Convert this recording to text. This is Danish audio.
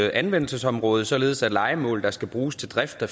anvendelsesområde således at lejemål der skal bruges til drift af